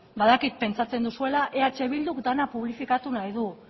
badakit pentsatzen duzuela eh bilduk dena publifikatu nahi dut